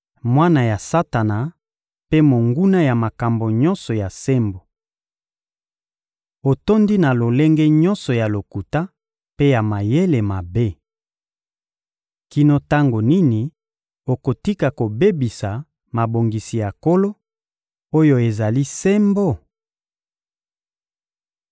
— Mwana ya Satana mpe monguna ya makambo nyonso ya sembo! Otondi na lolenge nyonso ya lokuta mpe ya mayele mabe! Kino tango nini okotika kobebisa mabongisi ya Nkolo, oyo ezali sembo?